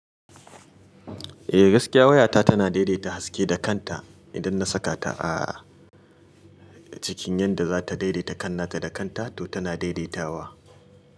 Eh gaskiya wayata tana daidaita haske da kanta idan na saka ta a cikin yadda za ta daidaita kan nata da kanta to tana daidaitawa.